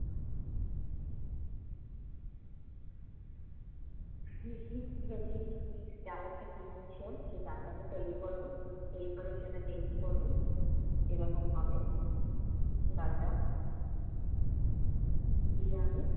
দেখি দুটা cheese mix ডাল একটা কিনে নিয়ে আসলাম, সে ডালটাকে তৈরি করবো, তৈরি করে সেটা test করব। কিরকম হবে ডালটা। যেয়ে আমি